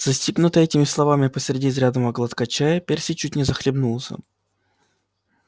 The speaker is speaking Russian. застигнутый этими словами посреди изрядного глотка чая перси чуть не захлебнулся